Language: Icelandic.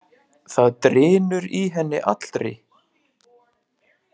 Það drynur í henni allri.